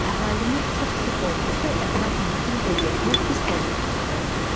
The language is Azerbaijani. Əhalinin çox sıx olması ətraf mühitin vəziyyətinə pis təsir göstərir.